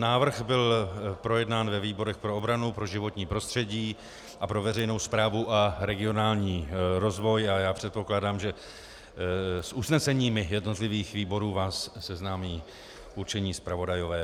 Návrh byl projednán ve výborech pro obranu, pro životní prostředí a pro veřejnou správu a regionální rozvoj a já předpokládám, že s usneseními jednotlivých výborů vás seznámí určení zpravodajové.